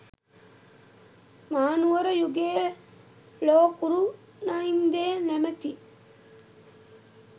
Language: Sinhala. මහනුවර යුගයේ ලෝකුරු නයිදේ නමැති